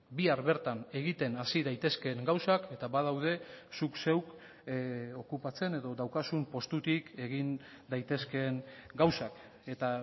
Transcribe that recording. bihar bertan egiten hasi daitezkeen gauzak eta badaude zuk zeuk okupatzen edo daukazun postutik egin daitezkeen gauzak eta